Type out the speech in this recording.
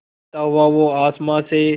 गिरता हुआ वो आसमां से